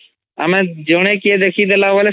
ଆମେ ଜଣେ କିଏ ଦେଖିଦେଲା ବେଲେ